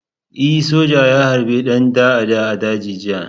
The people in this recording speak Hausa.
E, soja ya harbi ɗan ta'adda a daji jiya.